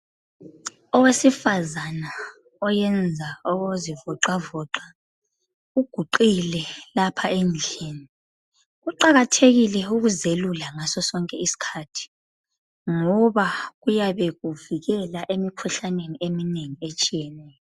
Owesifazana oyenza okokuzivoxavoxa uguqile lapha endlini. Kuqakathekile ukuzelula ngaso sonke isikhathi. Ngoba kuyabe kuvikela emikhuhlaneni eminengi etshiyeneyo.